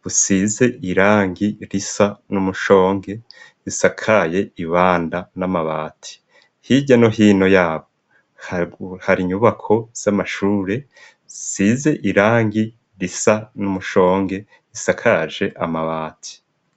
busize irangi risa n'umushonge isakaye ibanda n'amabati hirya no hino yaho hari inyubako z'amashure isize irangi risa n'umushonge isakaje amabati.